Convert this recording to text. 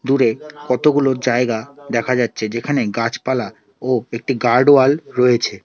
পুকুরে কতগুলো জায়গা দেখা যাচ্ছে যেখানে গাছপালা ও একটি গার্ড ওয়াল রয়েছে।